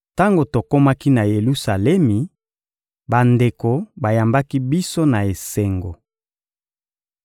Tango tokomaki na Yelusalemi, bandeko bayambaki biso na esengo.